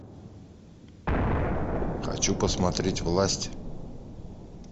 хочу посмотреть власть